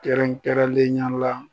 Kɛrɛnkɛrɛnlenya la.